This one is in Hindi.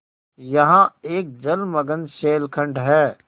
यहाँ एक जलमग्न शैलखंड है